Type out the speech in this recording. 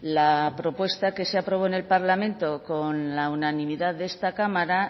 la propuesta que se aprobó en el parlamento con la unanimidad de esta cámara